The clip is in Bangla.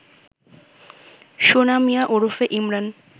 সোনা মিয়া ওরফে ইমরান